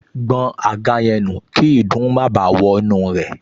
Gbọn àga yẹn nù kí ìdun má báà wọnú rẹ̀